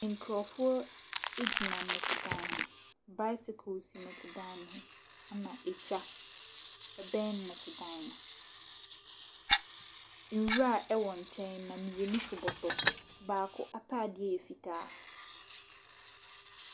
Nkurɔfoɔ gyina nnɛtedan ho. Bicycle si nnɛtedan no ho, ɛnna egya bɛn nnɛtedan no. Nwura wɔ nkyɛn na mmienu so bɔtɔ. Baako atadeɛ yɛ fitaa.